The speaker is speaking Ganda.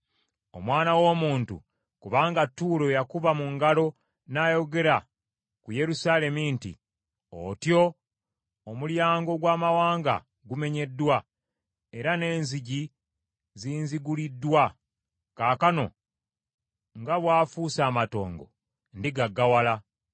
“Omwana w’omuntu, kubanga Ttuulo yakuba mu ngalo n’ayogera ku Yerusaalemi nti, ‘Otyo! Omulyango ogw’amawanga gumenyeddwa, era n’enzigi zinzigguliddwa kaakano nga bw’afuuse amatongo, ndigaggawala,’